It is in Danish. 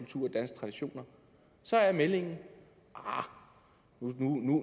traditioner så er meldingen arh